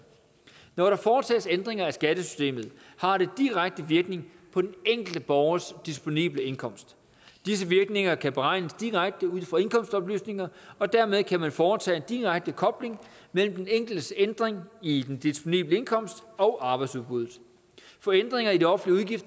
når der foretages ændringer af skattesystemet har det direkte virkning på den enkelte borgers disponible indkomst disse virkninger kan beregnes direkte ud fra indkomstoplysninger og dermed kan man foretage en direkte kobling mellem den enkeltes ændring i den disponible indkomst og arbejdsudbuddet for ændringer i de offentlige